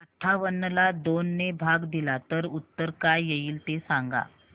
अठावन्न ला दोन ने भाग दिला तर उत्तर काय येईल ते सांगा